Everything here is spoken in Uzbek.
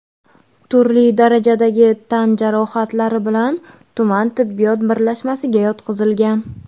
turli darajadagi tan jarohatlari bilan tuman tibbiyot birlashmasiga yotqizilgan.